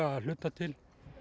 að hluta til